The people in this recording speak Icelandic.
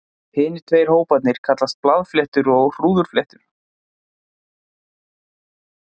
Hinir tveir hóparnir kallast blaðfléttur og hrúðurfléttur.